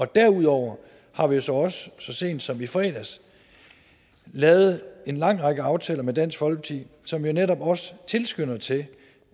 derudover har vi jo så også så sent som i fredags lavet en lang række aftaler med dansk folkeparti som netop også tilskynder til